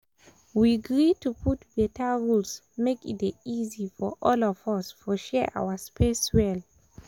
we gree to put beta rules make e dey easy for all of us for share our space well.